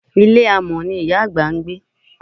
Ilé amọ̀n ni ìyá àgbà ń gbé.